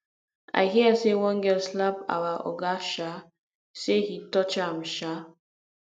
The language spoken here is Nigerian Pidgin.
i hear say one girl slap our oga um say he touch am um